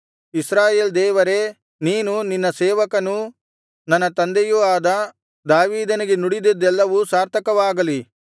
ಇಸ್ರಾಯೇಲ್ ದೇವರೇ ನೀನು ನಿನ್ನ ಸೇವಕನೂ ನನ್ನ ತಂದೆಯೂ ಆದ ದಾವೀದನಿಗೆ ನುಡಿದಿದ್ದೆಲ್ಲವೂ ಸಾರ್ಥಕವಾಗಲಿ